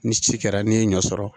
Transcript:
Ni ci kɛra n'i ye ɲɔ sɔrɔ